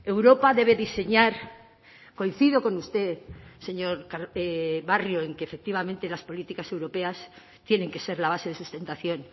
europa debe diseñar coincido con usted señor barrio en que efectivamente las políticas europeas tienen que ser la base de sustentación